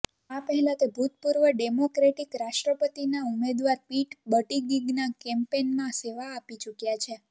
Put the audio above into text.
આ પહેલાં તે ભૂતપૂર્વ ડેમોક્રેટિક રાષ્ટ્રપતિના ઉમેદવાર પીટ બટિગિગના કેમ્પેનમાં સેવા આપી ચૂક્યાં છે